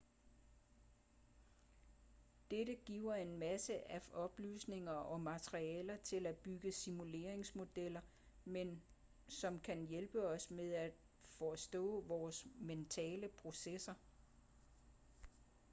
dette giver os masser af oplysninger og materialer til at bygge simuleringsmodeller med som kan hjælpe os med at forstå vores mentale processer